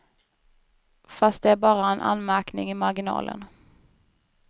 Fast det är bara en anmärkning i marginalen.